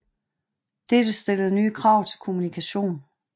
Dette stillede nye krav til kommunikation